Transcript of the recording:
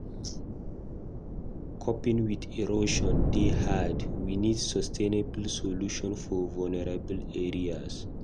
Coping with erosion dey hard; we need sustainable solutions for vulnerable areas.